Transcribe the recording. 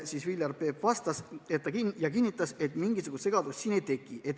Viljar Peep kinnitas, et mingisugust segadust siin ei teki.